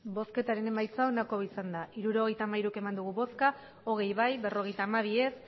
emandako botoak hirurogeita hamairu bai hogei ez berrogeita hamabi